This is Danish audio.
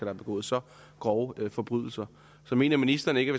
har begået så grove forbrydelser så mener ministeren ikke